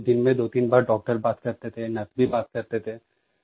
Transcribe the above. दिन में दोतीन बार डॉक्टर बात करते थे नर्स भी बात करते थे